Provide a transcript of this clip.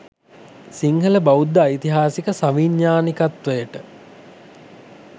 සිංහලබෞද්ධ ඓතිහාසික සවිඥාණිකත්වයට